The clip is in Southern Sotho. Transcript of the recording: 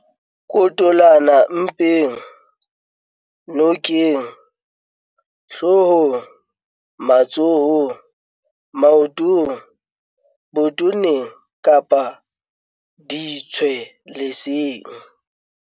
L - Kotolana mpeng, nokeng, hloohong, matsohong, maotong, botoneng kapa ditshwe leseng.